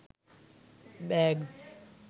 bags